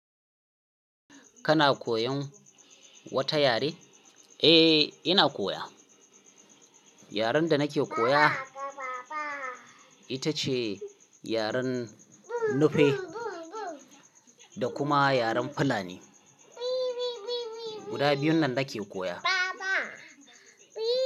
Kana koyan wata yare? Eh, ina koya. Yaren da nake koya ita ce yaren Nupe da kuma yaren Fulani. Guda biyun nan nake koya. Baba.